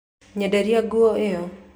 Nyenderia nguo ĩyo